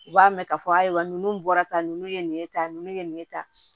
U b'a mɛn k'a fɔ ayiwa ninnu bɔra tan ninnu ye nin ye tan ye nin ye tan